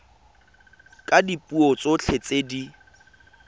ka dipuo tsotlhe tse di